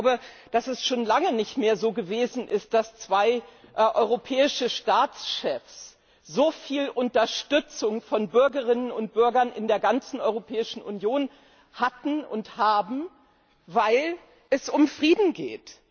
Ich glaube, dass schon lange nicht mehr zwei europäische Staatschefs so viel Unterstützung von Bürgerinnen und Bürgern in der ganzen Europäischen Union hatten und haben, weil es um Frieden geht.